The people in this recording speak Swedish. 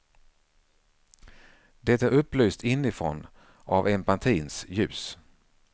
Det är upplyst inifrån av empatins ljus.